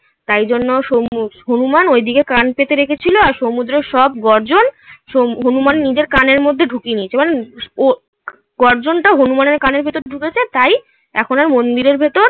তাই জন্য হনুমান ঐদিকে কান পেতে রেখেছিলো আর সমুদ্রের সব গর্জন হনুমান নিজের কানের মধ্যে ঢুকিয়ে নিয়েছে মানে ও গর্জনটা হনুমানের কানের ভেতর ঢুকেছে তাই এখন আর মন্দিরের ভেতর